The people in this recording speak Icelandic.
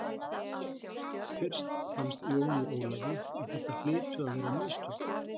Fyrst fannst Jóni Ólafi að þetta hlytu að vera mistök.